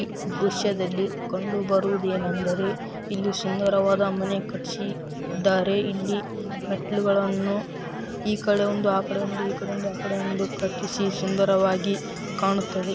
ಈ ದೃಶ್ಯದಲ್ಲಿ ಕಂಡುಬರುವುದು ಏನೆಂದರೆ ಇಲ್ಲಿ ಸುಂದರವಾದ ಮನೆ ಕಟ್ಟಿಸಿದ್ದಾರೆ ಇಲ್ಲಿ ಮೆಟ್ಟಿಲುಗಳನ್ನು ಈ ಕಡೆ ಒಂದು ಆ ಕಡೆ ಒಂದು ಕಟ್ಟಿಸಿ ಸುಂದರವಾಗಿ ಕಾಣುತ್ತವೆ.